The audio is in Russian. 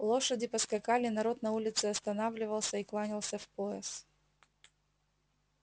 лошади поскакали народ на улице останавливался и кланялся в пояс